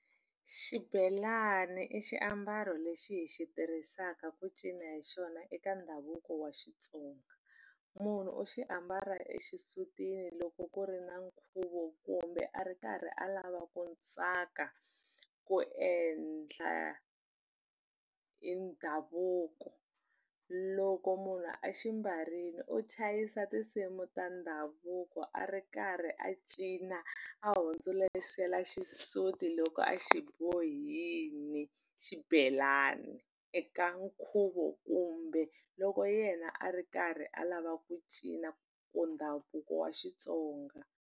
Xibelana i xiambalo lexi hi xi tirhisaka ku cina hi xona eka ndhavuko wa Xitsonga munhu u xi ambala exisutini loko ku ri na nkhuvo kumbe a ri karhi alava ku tsaka ku endla hi ndhavuko loko munhu a xi mbarile u chayisa tinsimu ta ndhavuko a ri karhi a cina a hundzuluxela xisati loko a xi bohile xibelani eka nkhuvo kumbe loko yena a ri karhi alava ku cina ku ndhavuko wa Xitsonga.